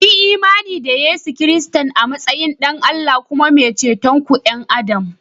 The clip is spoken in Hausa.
Kuyi imani da Yesu Kiristi a matsayin Ɗan Allah kuma mai ceton ’yan Adam